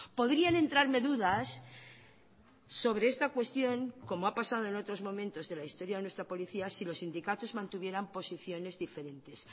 podrían entrarme dudas sobre esta cuestión como ha pasado en otros momentos de la historia de nuestra policía si los sindicatos mantuvieran posiciones diferentes